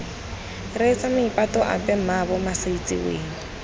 reetsa maipato ape mmaabo masaitsiweng